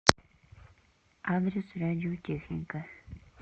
адрес радиотехника